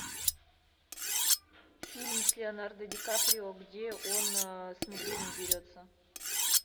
фильм с леонардо ди каприо где он с медведем дерется